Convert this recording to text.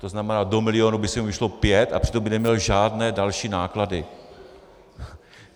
To znamená, do milionu by se jim vešlo pět, a přitom by neměl žádné další náklady.